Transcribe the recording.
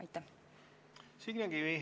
Signe Kivi, palun!